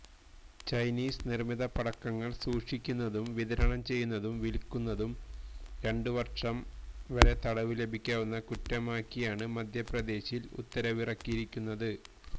Chinese നിർമ്മിത പടക്കങ്ങൾ സൂക്ഷിക്കുന്നതും വിതരണം ചെയ്യുന്നതും വിൽക്കുന്നതും രണ്ട് വർഷം വരെ തടവ് ലഭിക്കാവുന്ന കുറ്റമാക്കിയാണ് മധ്യപ്രദേശിൽ ഉത്തരവിറക്കിയിരിക്കുന്നത്